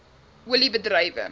olie bedrywe